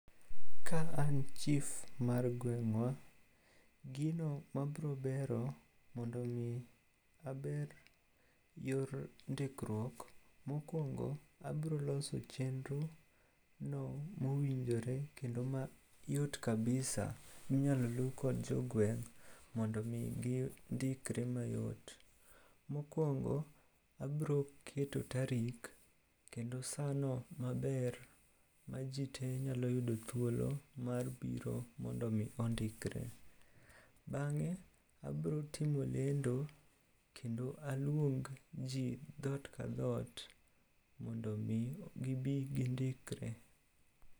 Ka an chif mar gweng'wa, gino mabrobero mondo omi aber yor ndikruok, mokwongo abroloso chenrono mowinjore kendo mayot kabisa minyalo lu kod jogweng' mondo omi gindikre mayot. Mokwongo abroketo tarik kendo sano maber ma ji te nyalo yudo thuolo mar biro mondo omi ondikre. Bang'e abrotimo lendo kendo aluong ji dhot ka dhot mondo omi gibi gindikre.